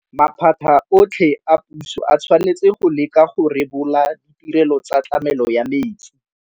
Maphata otlhe a puso a tshwanetse go leka go rebola ditirelo tsa tlamelo ya metsi.